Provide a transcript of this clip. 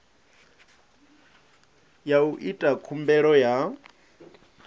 ya u ita khumbelo ya